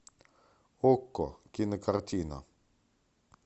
окко кинокартина